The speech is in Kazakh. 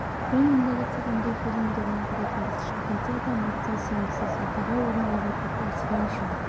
бұрын мұндайды тек үнді фильмдерінен көретінбіз шымкентте адам айтса сенгізіс оқиға орын алып отыр осыдан жыл